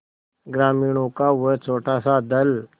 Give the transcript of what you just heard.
ग्रामीणों का वह छोटासा दल